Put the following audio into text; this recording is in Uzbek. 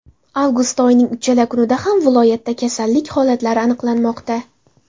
Avgust oyining uchala kunida ham viloyatda kasallik holatlari aniqlanmoqda.